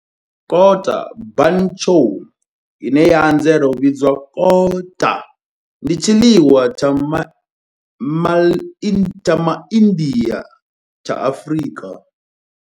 Kota bunny chow, ine ya anzela u vhidzwa kota, ndi tshiḽiwa tsha Ma India tsha Afrika.